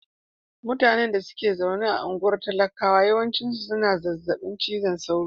Mutanen da ke zaune a anguwan talakawa yawanci suna da zazzabin cizon sauro.